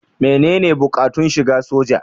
Menene buƙatun shiga soja?